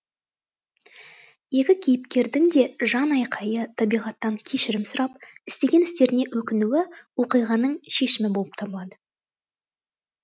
екі кейіпкердің де жан айқайы табиғаттан кешірім сұрап істеген істеріне өкінуі оқиғаның шешімі болып табылады